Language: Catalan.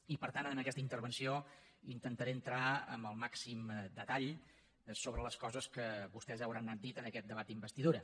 i per tant en aquesta intervenció intentaré entrar amb el màxim detall en les coses que vostès hauran anat dient en aquest debat d’investidura